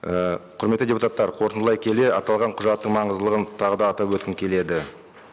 і құрметті депутаттар қорытындылай келе аталған құжаттың маңыздылығын тағы да атап өткім келеді